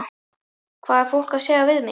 Hvað er fólk að segja við mig?